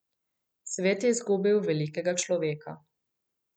Svet je izgubil velikega človeka.